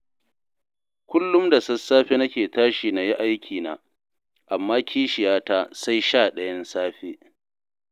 Kullum da sassafe nake tashi na yi aikina, amma kishiyata sai shaɗayan safe.